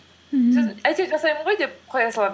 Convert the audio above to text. мхм сосын әйреуір жасаймын ғой деп қоя саламын